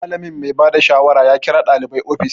Malamin mai bada shawara ya kira ɗalibai ofis